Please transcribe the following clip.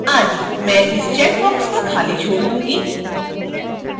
मैं इस चैकबॉक्स को खाली छोड़ दूंगी